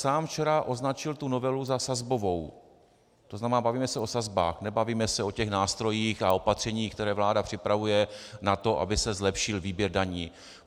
Sám včera označil tu novelu za sazbovou, to znamená bavíme se o sazbách, nebavíme se o těch nástrojích a opatřeních, které vláda připravuje na to, aby se zlepšil výběr daní.